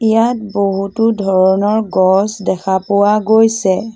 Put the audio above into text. ইয়াত বহুতো ধৰণৰ গছ দেখা পোৱা গৈছে।